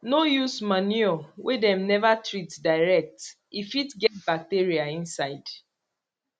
no use manure wey dem never treat direct e fit get bacteria inside